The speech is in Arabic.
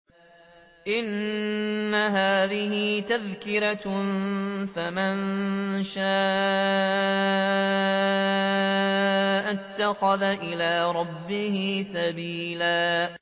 إِنَّ هَٰذِهِ تَذْكِرَةٌ ۖ فَمَن شَاءَ اتَّخَذَ إِلَىٰ رَبِّهِ سَبِيلًا